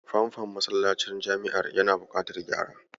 Famfon masallacin jami'ar yana buƙatar gyara.